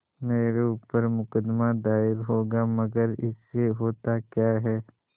मेरे ऊपर मुकदमा दायर होगा मगर इससे होता क्या है